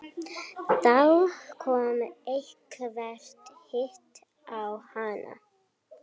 Þá kom eitthvert hik á hana.